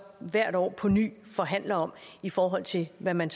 hvert år på ny forhandler om i forhold til hvad man